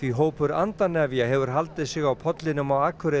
hefur haldið sig á pollinum á Akureyri síðustu daga